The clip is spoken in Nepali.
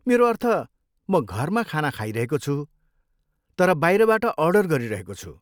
मेरो अर्थ, म घरमा खाना खाइरहेको छु तर बाहिरबाट अर्डर गरिरहेको छु।